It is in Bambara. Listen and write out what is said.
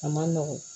A ma nɔgɔn